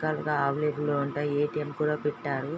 పెట్టారు ఉంటాయి ఎటిఎం కూడా పెట్టారు.